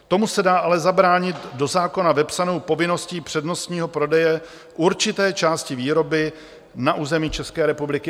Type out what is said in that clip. Tomu se dá ale zabránit do zákona vepsanou povinností přednostního prodeje určité části výroby na území České republiky.